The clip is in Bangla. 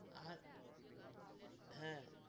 আর, হ্যা,